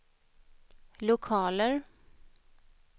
lokaler